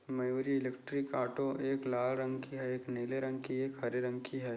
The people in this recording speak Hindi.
मयूरी इलेक्ट्रिक ऑटो एक लाल रंग की है एक नीले रंग की है एक हरे रंग की है।